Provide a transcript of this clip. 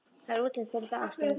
Það er útlit fyrir það, ástin.